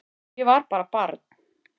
Ég var bara barn